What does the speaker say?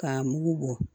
K'a mugu bɔ